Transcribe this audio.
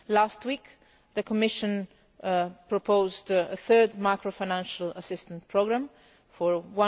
Last week the Commission proposed a third macro financial assistance programme for EUR